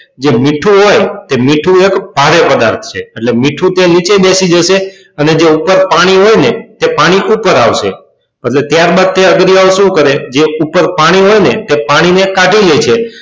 જે મીઠું હોય એ મીઠું એક ભારે પદાર્થ છે એટલે કે મીઠું છે એ નીચે બેસી જશે અને જે ઉપર પાણી હોય ને તે પાણી ઉપર આવશે અને ત્યારબાદ તે અગરિયાઓ શું કરે કે ઉપર પાણી હોય ને તે પાણીને કાઢી લેશે.